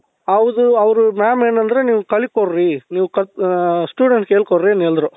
ಹೌದು ಅವ್ರು mam ಏನಂದ್ರೆ ನೀವು ಕಲಿ ಕೊಡ್ರಿ ನೀವು studentsಗೆ ಹೇಳ್ ಕೊಡ್ರಿ ಅಂದ್ರು